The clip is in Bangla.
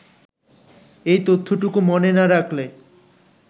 এই তথ্যটুকু মনে না রাখলে